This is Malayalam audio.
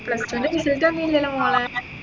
plus two ൻറെ result അറിഞ്ഞില്ലല്ലോ മോളെ